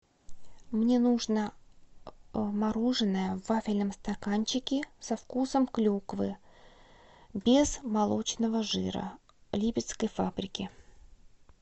мне нужно мороженое в вафельном стаканчике со вкусом клюквы без молочного жира липецкой фабрики